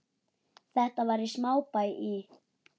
Þetta var í smábæ í